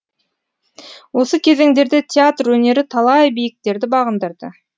осы кезеңдерде театр өнері талай биіктерді бағындырды